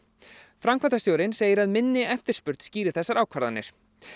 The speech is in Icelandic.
framkvæmdastjórinn segir að minni eftirspurn skýri þessar ákvarðanir